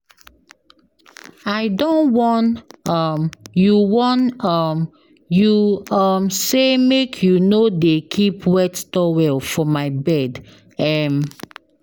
I don warn um you warn um you um sey make you no dey keep wet towel for my bed. um